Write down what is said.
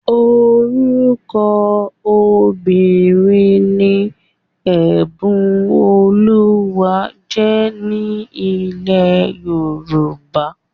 Orúkọ obìnrin ni Ẹ̀bùnolúwa jẹ́ ní ilẹ̀ Yorùbá